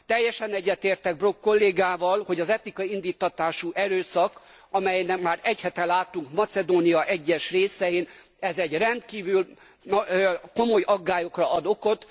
Teljesen egyetértek Brok kollégával, hogy az etnikai indíttatású erőszak amelyet már egy hete láttunk Macedónia egyes részein rendkívül komoly aggályokra ad okot.